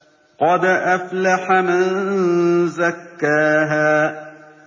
قَدْ أَفْلَحَ مَن زَكَّاهَا